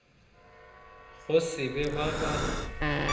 go se be ba ba